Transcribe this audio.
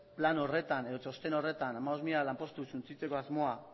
plan horretan edo txosten horretan hamabost mila lanpostu suntsitzeko asmoa